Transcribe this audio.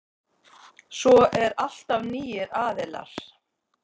Svo er alltaf nýir aðilar.